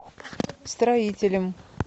строителем